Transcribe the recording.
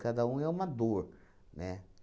Cada um é uma dor, né?